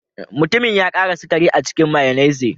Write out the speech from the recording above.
Mutumin ya ƙara sukari a cikin mayonnaise.